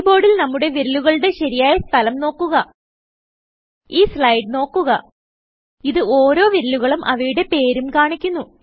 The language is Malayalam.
കീബോർഡിൽ നമ്മുടെ വിരലുകളുടെ ശരിയായ സ്ഥലം നോക്കുക ഈ സ്ലൈഡ് നോക്കുക ഇത് ഓരോ വിരലുകളും അവയുടെ പേരും കാണിക്കുന്നു